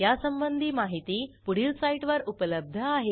यासंबंधी माहिती पुढील साईटवर उपलब्ध आहे